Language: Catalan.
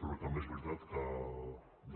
però també és veritat que